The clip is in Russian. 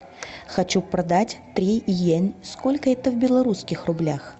хочу продать три йен сколько это в белорусских рублях